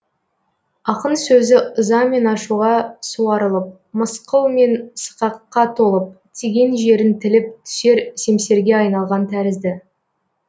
ақын сөзі ыза мен ашуға суарылып мысқыл мен сықаққа толып тиген жерін тіліп түсер семсерге айналған тәрізді